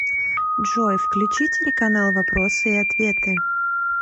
джой включи телеканал вопросы и ответы